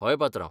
हय, पात्रांव.